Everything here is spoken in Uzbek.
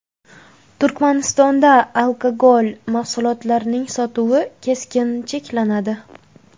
Turkmanistonda alkogol mahsulotlarining sotuvi keskin cheklanadi.